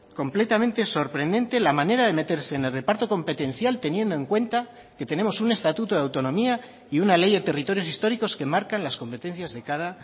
completamente sorprendente la manera de meterse en el reparto competencial teniendo en cuenta que tenemos un estatuto de autonomía y una ley de territorios históricos que marcan las competencias de cada